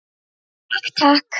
Takk, takk.